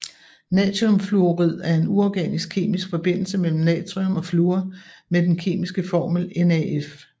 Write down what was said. Natriumfluorid er en uorganisk kemisk forbindelse mellem natrium og fluor med den kemiske formel NaF